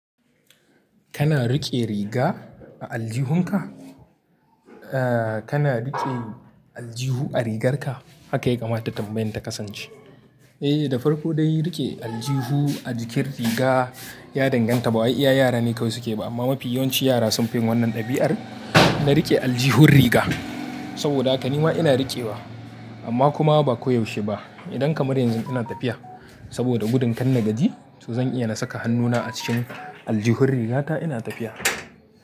Kana riƙe riga a aljihunka? Ah, kana riƙe aljihu a rigarka? Haka ya kamata tambayin ta kasance. Eh, da farko dai riƙe aljihu a jikin riga ya danganta ba wai iya yara ne kawai suke ba, amma mafi yawanci yara sun fi yin wannan ɗabi'ar na riƙe aljihun riga. Saboda haka nima ina riƙewa amma kuma ba koyaushe ba. Idan kamar yanzu ina tafiya saboda gudun kan na gadi, to zan iya na saka hannuna a cikin aljihu rigata ina tafiya.